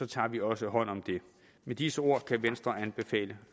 tager vi også hånd om det med disse ord kan venstre anbefale